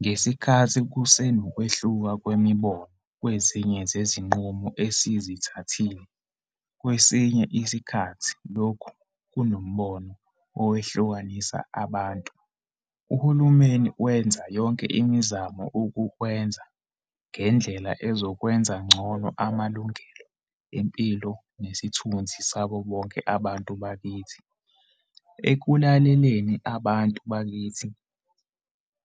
Ngesikhathi kusenokwehluka kwemibono kwezinye zezi-nqumo esizithathile - kwesinye isikhathi lokhu kunombono owehlukanisa abantu - uhulumeni wenza yonke imizamo ukukwenza ngendlela ezokwenza ngcono amalungelo empilo nesithunzi sabobonke abantu bakithi. Ekulaleleni abantu bakithi